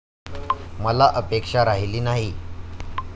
मला अपेक्षा राहिली नाहीये.